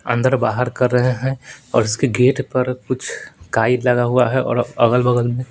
अंदर बाहर कर रहे हैं और इसके गेट पर कुछ काई लगा हुआ है और अगल-बगल में--